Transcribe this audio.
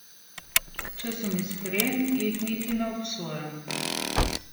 Če sem iskren, jih niti ne obsojam.